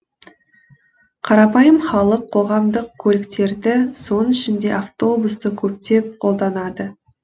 қарапайым халық қоғамдық көліктерді соның ішінде автобусты көптеп қолданады